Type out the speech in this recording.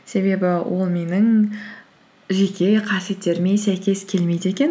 себебі ол менің жеке қасиеттеріме сәйкес келмейді екен